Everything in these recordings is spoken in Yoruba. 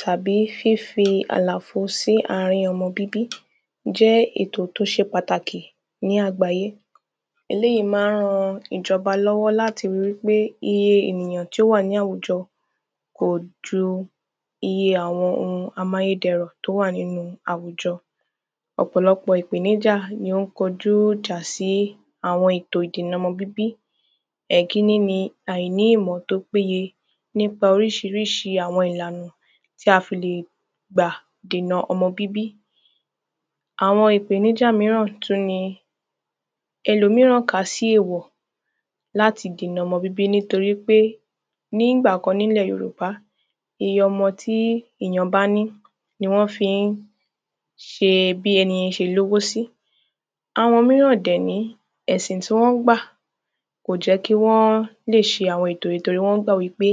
Tàbí fí fi àlafo sí ààrín ọmọ bíbí Jẹ́ ètò tí ó ṣe pàtàkì ní àgbáyé Eléyìí ma ń ran ìjọba lọ́wọ́ láti ri pé iye èyàn tí ó wà ní àwùjọ kò ju iye àwọn oun amáyédẹrùn tí ó wà nínú àwùjọ Ọ̀pọ̀lọpọ̀ ìpèníjà ni ó kojụ́ ìjà sí àwọn ètò ìdènà ọmọ bíbí Ìkíní ni àìní ìmọ̀ tí ó péye nípa Oríṣiríṣi àwọn ìlànà tí a fi lè gbà dènà ọmọ bíbí Àwọn ìpèníjà míràn tún ni Ẹlòmíràn kà sí ewọ̀ láti dènà ọmọ bíbí nítorí pé ní ìgbà kan ní ilẹ̀ Yorùbá iye ọmọ tí èyàn bá ní ni wọ́n fi ń ṣe bí ẹni yẹn ní owó sí Àwọn míràn dẹ̀ nìyí ẹ̀sìn tí wọ́n gbà kò jẹ́ kí wọ́n lè ṣe àwọn ètò yìí torí wọ́n gbà wípé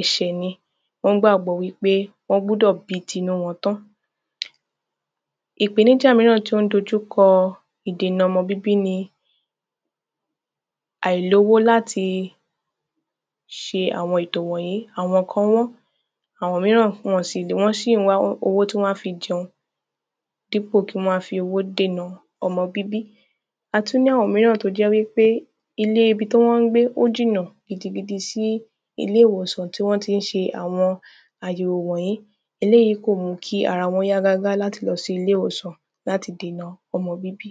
ẹ̀ṣẹ̀ ni Wọ́n gbàgbọ́ wípé wọ́n gbọ́dọ̀ bí tí inú wọn tán Ìpèníjà míràn tí ó ń dojú kọ ìdènà ọmọ bíbí ni Àìlówó láti ṣe àwọn ètò wọ̀nyí Àwọn kan wọ́n ń àwọn míràn wọn ò sì wọ́n sì ń wá owó tí wọ́n á fi jẹun dípò kí wọ́n ma fi owó dènà ọmọ bíbí A tún ní àwọn míràn tí ó jẹ́ wípé ilé ibi tí wọ́n ń gbé ó jìnà gidigidi sí ilé ìwòsàn tí wọ́n ti ń ṣe àwọn àyẹ̀wò yìí Eléyìí kò mú kí ara wọn yá gágá láti lọ sí ilé ìwòsàn láti dènà ọmọ bíbí